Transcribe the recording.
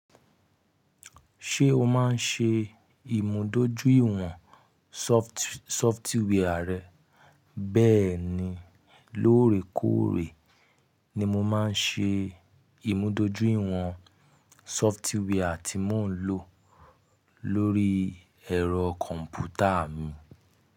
Ṣé o máa ń ṣe ìmùdójúìwọ̀n sọftíwẹ́ẹ̀rì rẹ? Bẹ́ẹ̀ni, lóòrèkóòrè ni mo máa ń ṣe ìmúdójúìwọ̀n sọftíwẹ́ẹ̀rì tí mò ń lò lórí ẹ̀rọ kọ̀m̀pútà mi.